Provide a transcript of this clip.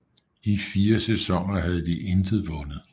I fire sæsoner havde de intet vundet